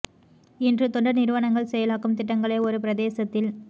இன்று தொண்டர் நிறுவனங்கள் செயலாக்கும் திட்டங்களை ஒரு பிரதேசத்தில்